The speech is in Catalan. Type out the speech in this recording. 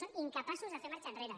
són incapaços de fer marxa enrere